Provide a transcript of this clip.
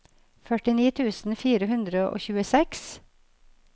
førtini tusen fire hundre og tjueseks